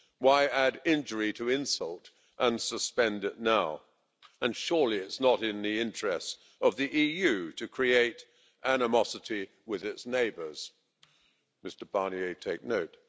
Why add injury to insult and suspend it now? And surely it's not in the interests of the EU to create animosity with its neighbours Mr Barnier, take note.